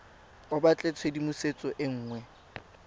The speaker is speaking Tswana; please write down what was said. o batla tshedimosetso e nngwe